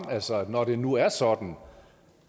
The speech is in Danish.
altså når det nu er sådan